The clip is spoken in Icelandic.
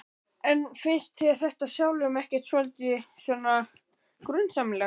En finnst þér þetta sjálfum ekkert svolítið svona grunsamlegt?